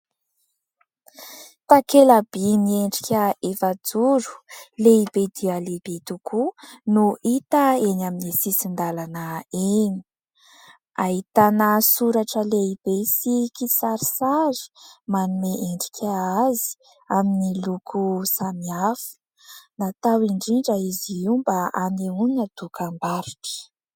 Takela-by miendrika efajoro, lehibe dia lehibe tokoa no hita eny amin'ny sisin-dalana eny. Ahitana soratra lehibe sy kisarisary manome endrika azy amin'ny loko samihafa ; natao indrindra izy io mba hanehoana dokam-barotra.